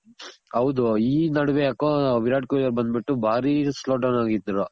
ಹೌದು ಈ ನಡ್ವೆ ಯಾಕೋ ವಿರಾಟ್ ಕೊಹ್ಲಿ ಬಂದ್ ಬಿಟ್ಟು ಬಾರಿ slow down ಆಗಿದ್ರು